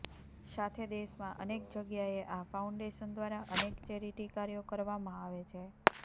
સાથે દેશમાં અનેક જગ્યાએ આ ફાઉન્ડેશન દ્વારા અનેક ચેરીટી કાર્યો કરવામાં આવે છે